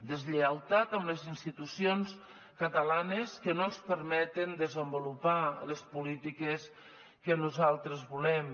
deslleialtat amb les institucions catalanes que no ens permet desenvolupar les polítiques que nosaltres volem